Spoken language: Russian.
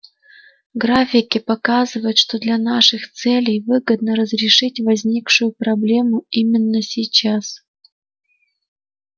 графики показывают что для наших целей выгодно разрешить возникшую проблему именно сейчас